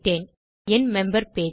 இது என் member page